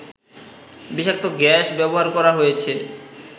বিষাক্ত গ্যাস ব্যবহার করা হয়েছে